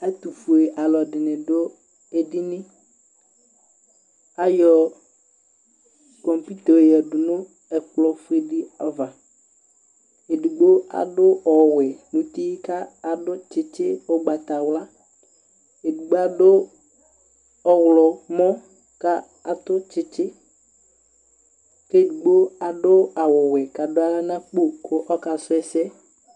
ɛtufuɛ ɑloɛdini du ɛdini ɑyɔ kɔmpito yɔyɛdu nukplo fuɛdiɑvɑ ɛdigbo ɑdu ɔwɛ nuti ɑdutsitsi ugbatawlɑ ɛdigbo ɑdu ɔhlomɔ ɑtutsitsi kɛdigbo ɑdu ɑwuwɛ kɑduahla nɑkpo kasuese